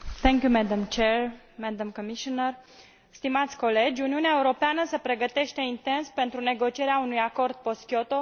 Uniunea Europeană se pregătește intens pentru negocierea unui acord post Kyoto pentru a continua reducerea cauzelor schimbărilor climatice.